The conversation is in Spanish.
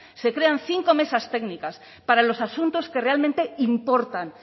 se crean cinco mesas técnicas para los asuntos que realmente importan